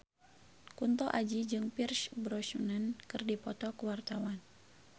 Kunto Aji jeung Pierce Brosnan keur dipoto ku wartawan